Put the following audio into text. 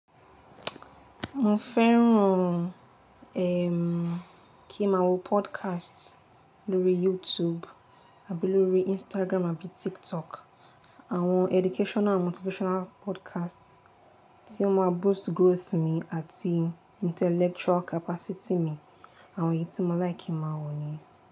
Mo fẹ́ràn, eh, kí máa wo podcast lórí YouTube àbí lórí Instagram àbí TikTok. Àwọn educational and motivational podcast tí ó máa boost growth mi àti intellectual capacity mi. Àwọn èyí tí mo like kí máa wọ̀ niyen.